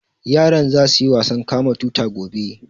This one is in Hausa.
Yaran za su yi wasan kama tuta gobe